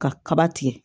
Ka kaba tigɛ